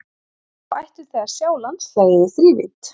Þá ættuð þið að sjá landslagið í þrívídd.